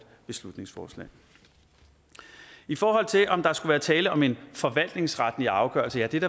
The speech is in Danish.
beslutningsforslag i forhold til om der skulle være tale om en forvaltningsretlig afgørelse vil